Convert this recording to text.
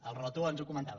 el relator ens ho comentava